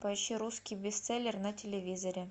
поищи русский бестселлер на телевизоре